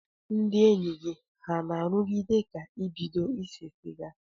Ndị enyi gị ha na-arụgide ka ịbido ise siga?